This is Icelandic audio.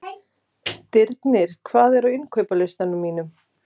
Stirnir, hvað er á innkaupalistanum mínum?